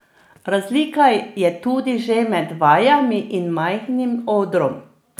Razlika je tudi že med vajami in majhnim odrom.